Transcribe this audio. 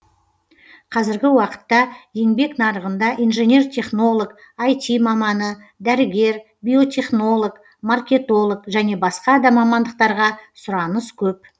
қазіргі уақытта еңбек нарығында инженер технолог іт маманы дәрігер биотехнолог маркетолог және басқа да мамандықтарға сұраныс көп